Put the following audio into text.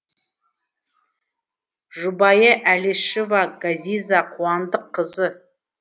жұбайы әлішева ғазиза қуандыққызы